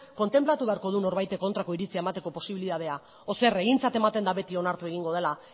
kontenplatu beharko du norbaitek kontrako iritzia emateko posibilitatea edo zer egintzat ematen da beti onartu egingo dela